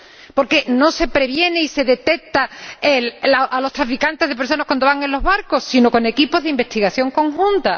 ¿Por qué no se previene y se detecta a los traficantes de personas cuando van en los barcos con equipos de investigación conjunta?